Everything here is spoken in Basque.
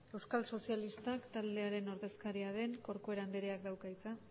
euskal sozialistak taldearen ordezkaria den corcuera andreak dauka hitza